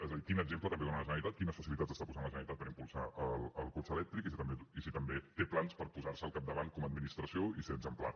és a dir quin exemple també dóna la generalitat quines facilitats està posant la generalitat per impulsar el cotxe elèctric i si també té plans per posar s’hi al capdavant com a administració i ser exemplar